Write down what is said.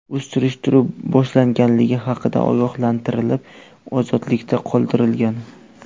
U surishtiruv boshlanganligi haqida ogohlantirilib, ozodlikda qoldirilgan.